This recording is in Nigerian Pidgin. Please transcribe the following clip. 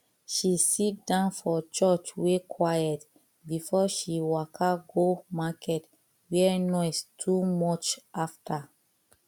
she sit down for church wey quiet before she waka go market wey noise too much after